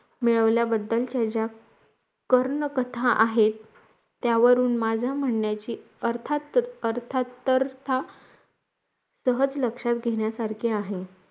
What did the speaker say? मिळवलेल्या बद्दल ज्या कर्ण कथा आहेत त्यावरून माझा म्हणण्याचे अर्था अर्थात अर्थतर्था सहज लक्ष्यात घेण्यासारखी आहे